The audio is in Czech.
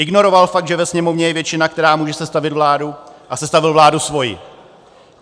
Ignoroval fakt, že ve Sněmovně je většina, která může sestavit vládu, a sestavil vládu svoji.